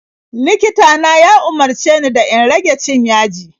Likita na ya umarce ni da in rage cin yaji.